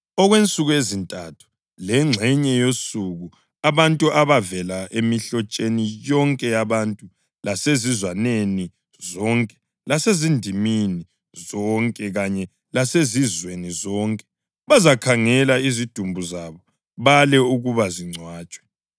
Okwensuku ezintathu lengxenye yosuku abantu abavela emihlotsheni yonke yabantu lasezizwaneni zonke lasezindimini zonke kanye lasezizweni zonke bazakhangela izidumbu zabo bale ukuba zingcwatshwe.